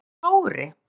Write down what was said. Hvað er þá logri?